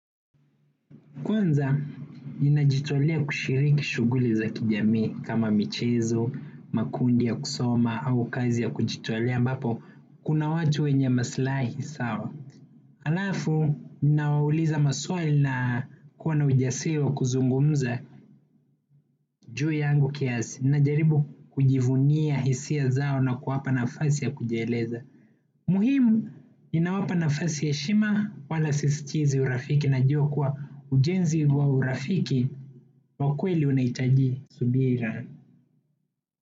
Kwanza, ninajitolea kushiriki shughuli za kijamii kama michezo, makundi ya kusoma au kazi ya kujitolea ambapo, kuna watu wenye maslahi sawa. Alafu, ninawauliza maswala kuwa na ujasiwa kuzungumza juu yangu kiasi, ninajaribu kujivunia hisia zao na kuwapa nafasi ya kujieleza. Muhimu ninawapa nafasi ya heshima wala sisitizi urafiki na jua kuwa ujenzi wa urafiki wa kweli unahitaji subira.